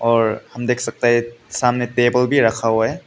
और हम देख सकते हैं सामने टेबल भी रखा हुआ है।